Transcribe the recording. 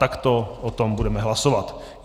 Takto o tom budeme hlasovat.